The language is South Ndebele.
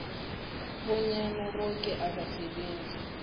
bonyana boke abasebenzi